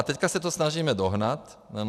A teď se to snažíme dohnat, ano.